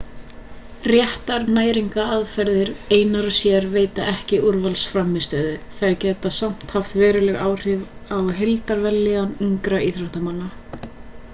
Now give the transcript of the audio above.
réttar næringaraðferðir einar og sér veita ekki úrvalsframmistöðu þær geta samt haft veruleg áhrif á heildarvellíðan ungra íþróttamanna